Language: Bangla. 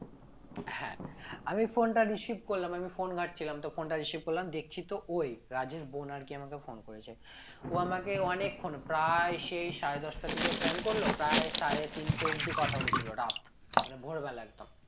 হ্যাঁ আমি phone টা receive করলাম আমি phone ঘাটছিলাম তো phone টা receive করলাম দেখছি তো ওই রাজের বোন আর কি আমাকে phone করেছে ও আমাকে অনেকক্ষণ প্রায় সেই সাড়ে দশটার দিকে phone করল প্রায় সাড়ে তিনটে অব্দি কথা বলেছিল রাত মানে ভোরবেলা একদম